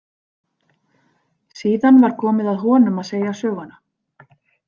Síðan var komið að honum að segja söguna.